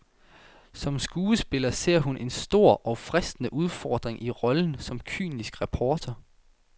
Som skuespiller ser hun en stor og fristende udfordring i rollen som kynisk reporter.